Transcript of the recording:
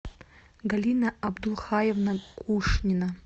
галина абдулхаевна кушнина